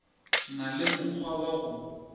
na le mokgwa wa go